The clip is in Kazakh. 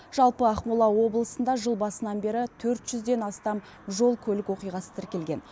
жалпы ақмола облысында жыл басынан бері төрт жүзден астам жол көлік оқиғасы тіркелген